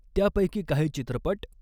त्यापैकी काही चित्रपटः